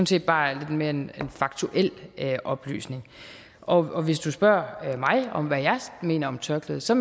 set bare mere en faktuel oplysning og hvis du spørger mig om hvad jeg mener om tørklædet så